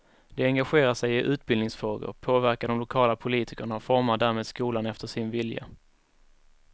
De engagerar sig i utbildningsfrågor, påverkar de lokala politikerna och formar därmed skolan efter sin vilja.